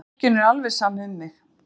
Fólkinu er alveg sama um mig!